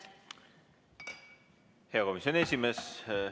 Hea komisjoni esimees!